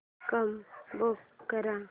cab book कर